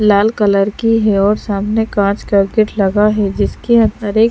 लाल colour की है और सामने काँंच का गेट लगा है जिसके अंदर एक--